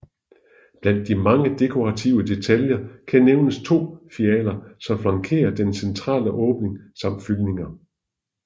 Blandt de mange dekorative detaljer kan nævnes to fialer som flankerer den centrale åbning samt fyldninger